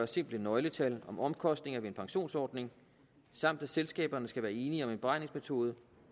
simple nøgletal om omkostningerne ved en pensionsordning samt at selskaberne skal være enige om en beregningsmetode